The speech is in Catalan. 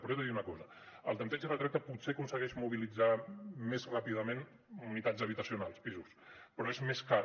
però he de dir una cosa el tanteig i retracte potser aconsegueix mobilitzar més ràpidament unitats habitacionals pisos però és més car